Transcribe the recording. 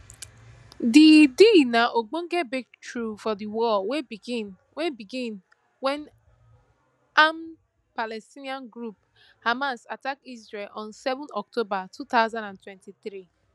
di deal na ogbonge breakthrough for di war wey begin wey begin wen armed palestinian group hamas attack israel on seven october two thousand and twenty-three